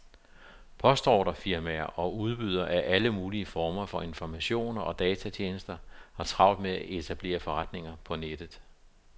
Postordrefirmaer og udbydere af alle mulige former for informationer og datatjenester har travlt med at etablere forretninger på nettet.